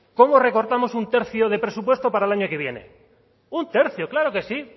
cómo recortamos un tercio de presupuesto para el año que viene un tercio claro que sí